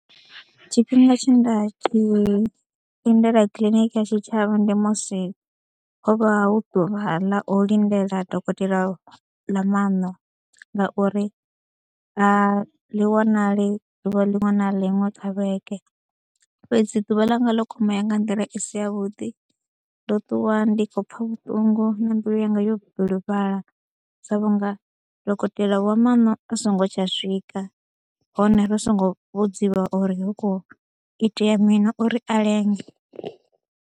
Tshifhinga tshe nda tshi lindela kiḽiniki ya tshitshavha ndi musi ho vha hu ḓuvha ḽa u lindela dokotela ḽa maṋo ngauri a ḽi wanali ḓuvha liṅwe na liṅwe kha vhege fhedzi ḓuvha ḽanga ḽo kwamea nga nḓila i si yavhuḓi, ndo ṱuwa ndi khou pfha vhuṱungu na mbilu yanga yo bilufhala sa vhunga dokotela wa maṋo a songo tsha swika hone ri songo vhudziwa uri hu khou itea mini uri a lenge.